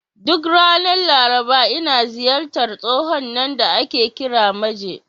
Duk ranar Laraba, ina ziyartar tsohon nan da ake kira Maje.